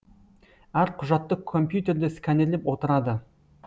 әр құжатты компьютерде сканерлеп отырады